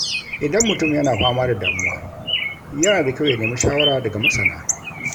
Idan mutum yana fama da damuwa, yana da kyau ya nemi shawara daga masana